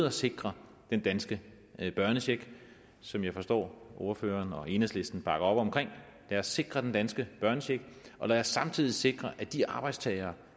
at sikre den danske børnecheck som jeg forstår ordføreren og enhedslisten bakker op om lad os sikre den danske børnecheck og lad os samtidig sikre at de arbejdstagere